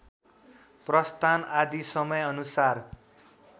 प्रस्थान आदि समयानुसार